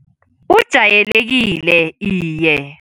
Ujayelekile, iye.